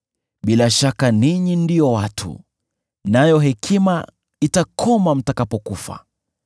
“Bila shaka ninyi ndio watu, nayo hekima itakoma mtakapokufa!